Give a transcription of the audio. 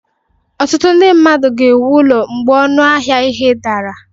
Ọtụtụ ndị mmadụ ga-ewu ụlọ mgbe ọnụ ahịa ihe ụlọ dara